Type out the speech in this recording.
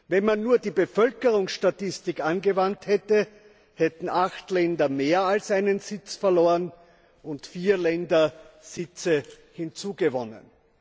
Wenn man nur die Bevölkerungsstatistik angewandt hätte, hätten acht Länder mehr als einen Sitz verloren und vier Länder Sitze hinzugewonnen.